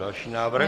Další návrh.